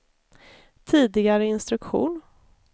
tidigare instruktion